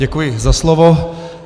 Děkuji za slovo.